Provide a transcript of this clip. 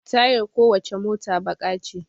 Tayar ko wacce mota baƙa ce